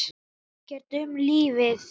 Hann veit ekkert um lífið.